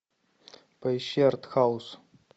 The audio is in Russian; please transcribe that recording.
поищи артхаус